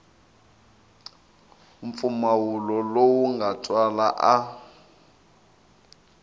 mpfumawulo lowu nga twala a